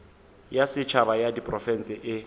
ya setšhaba ya diprofense e